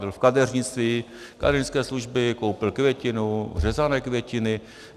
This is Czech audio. Byl v kadeřnictví, kadeřnické služby, koupil květinu, řezané květiny.